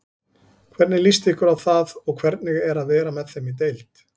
Hvernig líst ykkur á það og hvernig er að vera með þeim í deild?